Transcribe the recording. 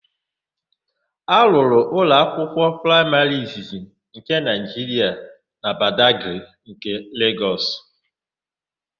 A rụrụ ụlọakwụkwọ praịmarị izizi nke Naịjiria na Badagrị nke Legọs.